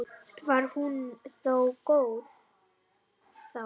Var hún þó góð þá.